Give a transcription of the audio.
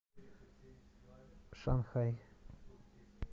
шанхай